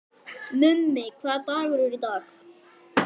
Mummi, hvaða dagur er í dag?